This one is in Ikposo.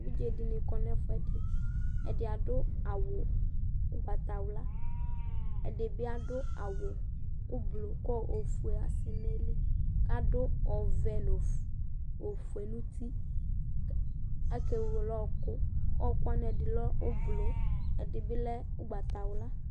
Evidze dini kɔ nu ɛfu ɛdi Ɛdi adu awu ugbatawla Ɛdi bi adu awu ublɔ ku ɔfue asɛ nu ayili Ku adu ɔvɛ nu ɔfue nu uti Akewele ɔwɔku Ɔwɔku wani ɛdi lɛ ublɔ ɛdi biblɛ ugbatawla